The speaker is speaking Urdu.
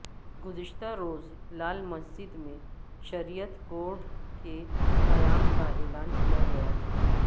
گزشتہ روز لال مسجد میں شریعت کورٹ کے قیام کا اعلان کیا گیا تھا